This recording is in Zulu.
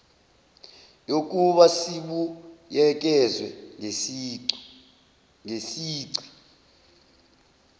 yokuba sibuyekezwe ngesici